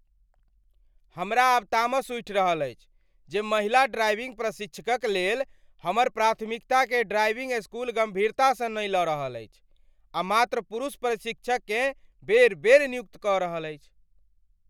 हमरा आब तामस उठि रहल अछि जे महिला ड्राइविंग प्रशिक्षकक लेल हमर प्राथमिकताकेँ ड्राइविंग स्कूल गम्भीरतासँ नहि लऽ रहल अछि, आ मात्र पुरुष प्रशिक्षककेँ बेर बेर नियुक्त कऽ रहल अछि।